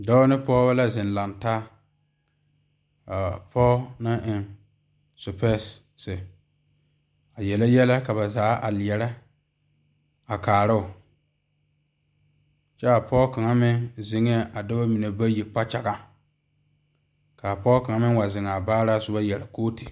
Dɔɔba ne pɔgeba la zeŋ lantaa kaa pɔge naŋ eŋ sepersee a yeli yɛllɛ ka ba zaa a leɛre a kaaro kyɛ a pɔge kaŋ meŋ zeŋe a dɔɔba mine bayi kpakyɛga kaa pɔge kaŋ meŋ wa zeŋ a baara yeere kooti.